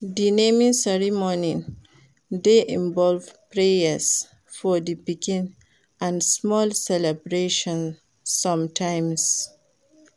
Di naming ceremoning dey involve prayers for di pikin and small celebration sometimes